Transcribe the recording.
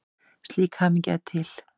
Slík hamingja er til.